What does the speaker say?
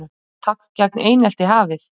Átak gegn einelti hafið